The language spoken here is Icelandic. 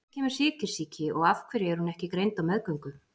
Af hverju kemur sykursýki og af hverju er hún ekki greind á meðgöngu?